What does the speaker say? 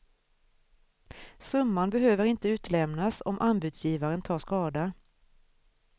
Summan behöver inte utlämnas om anbudsgivaren tar skada.